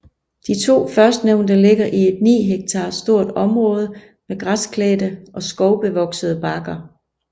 De to førstnævnte ligger i et ni hektar stort område med græsklædte og skovbevoksede bakker